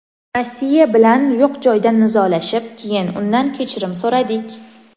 Rossiya bilan yo‘q joydan nizolashib, keyin undan kechirim so‘radik.